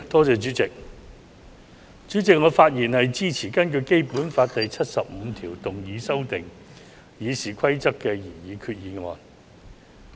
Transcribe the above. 主席，我發言支持根據《基本法》第七十五條動議修訂《議事規則》的擬議決議案。